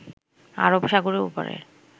আরব সাগরের ওপারের